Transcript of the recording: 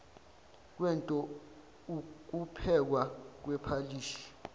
kwento ukuphekwa kwephalishi